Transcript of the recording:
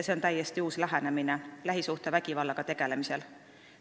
See on täiesti uus lähenemine lähisuhtevägivallaga tegelemisel.